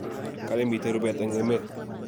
kale miten rupeet en emeet